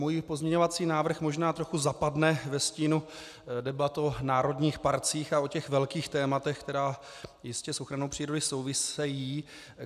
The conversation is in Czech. Můj pozměňovací návrh možná trochu zapadne ve stínu debat o národních parcích a o těch velkých tématech, která jistě s ochranou přírody souvisejí.